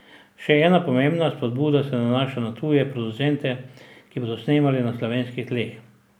Še ena pomembna spodbuda se nanaša na tuje producente, ki bodo snemali na slovenskih tleh.